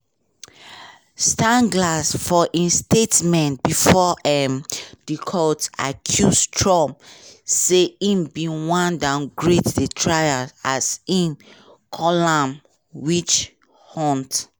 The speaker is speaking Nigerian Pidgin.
steinglass for im statement bifor um di court accuse trump say im bin wan downgrade di trial as im call am witch hunt.